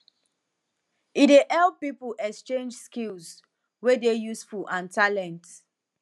e dey help pipo exchange skills wey dey useful and talent